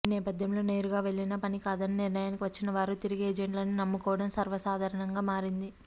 ఈ నేపథ్యంలో నేరుగా వెళ్లినా పని కా దని నిర్ణయానికి వచ్చిన వారు తిరిగి ఏజెంట్లనే నమ్ముకోవడం సర్వసాధారణంగా మారింది